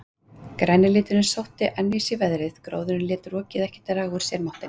Græni liturinn sótti enn í sig veðrið, gróðurinn lét rokið ekki draga úr sér máttinn.